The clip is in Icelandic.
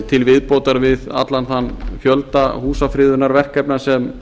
til viðbótar við allan þann fjölda húsafriðunarverkefna sem